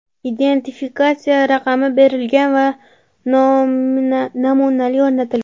Identifikatsiya raqami berilgan va nominali o‘rnatilgan.